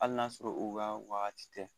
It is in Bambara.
Hali n'a sɔrɔ u ka wagati tɛ.